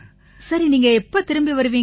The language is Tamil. சரி நீங்க எப்ப திரும்பி வருவீங்க